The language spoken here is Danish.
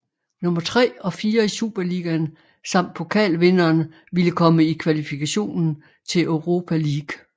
Nummer 3 og 4 i Superligaen samt pokalvinderen ville komme i kvalifikationen til Europa League